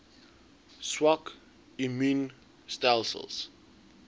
swak immuun stelsels